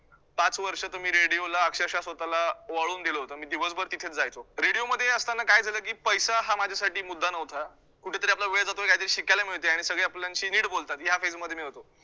पाच वर्ष तर मी radio ला अक्षरशः स्वतःला वळवून दिलं होतं. मी दिवसभर तिथेच जायचो radio मध्ये असताना काय झालं, की पैसा हा माझ्यासाठी मुद्दा नव्हता. कुठेतरी आपला वेळ जातोय काहीतरी शिकायला मिळतयं आणि सगळे आपल्याशी नीट बोलतात या phase मध्ये मी होतो.